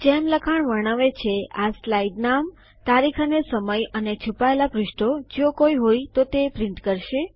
જેમ લખાણ વર્ણવે છે આ સ્લાઇડ નામ તારીખ અને સમય અને છુપાયેલા પૃષ્ઠો જો કોઈ હોય તો તે છાપશે